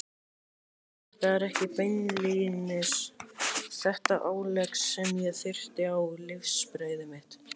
Það var ekki beinlínis þetta álegg sem ég þurfti á lífsbrauðið mitt.